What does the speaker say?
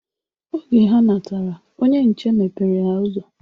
Oge ha natara, onye nche mepere ha ụzọ.